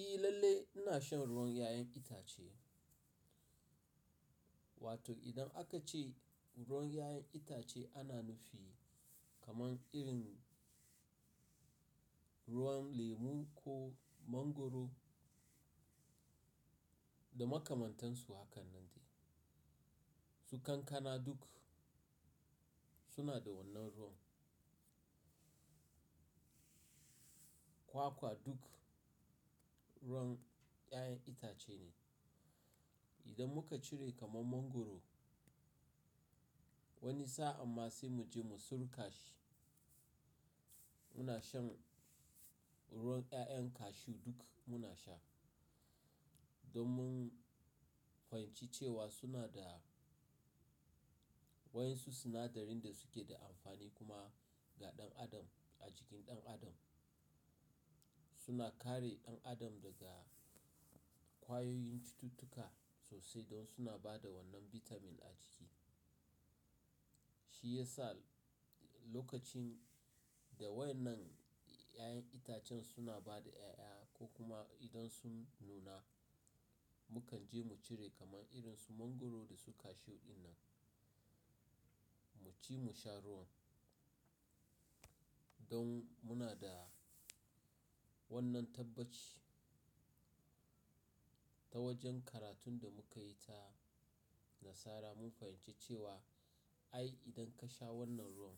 ehI lallai ina shan ruwan 'ya'yan itace, wato idan aka ce ruwan 'ya'yan itace ana nufi kaman irin ruwan lemu ko mangwaro da makamantansu hakan nan ne. Su kankana duk suna da wannan ruwan. Kwakwa duk ruwan 'ya'yan itace ne. Idan muka cire kaman mangwaro wani sa'a amma sai mu je mu sulka shi, muna shan ruwan 'ya'yan cashew duk muna sha. Don mun fahimci cewa suna da waɗansu sinadarin da suke da amfani kuma ga ɗan adam a jikin ɗan adam. Suna kare ɗan adam daga ƙwayoyin cututtuka sosai don suna ba da wannan vitamin a ciki. Shi ya sa lokacin da wai nan 'ya'yan itacen suna ba da 'ya'ya ko kuma idan sun nuna, mukan je mu cire kaman irin su mangwaro da su cashew din nan mu ci mu sha ruwan don muna da wannan tabbaci. Ta wajen karatun da muka yi ta nasara mun fahimci cewa ai idan ka sha wannan ruwan